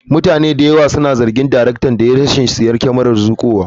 Mutane da yawa suna zargin daraktan da rashin siyan kyamarar zuƙowa.